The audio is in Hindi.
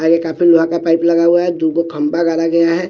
आगे कैप्टन विभाग का पाइप लगा हुआ है दु गो खंभा गाड़ा गया है।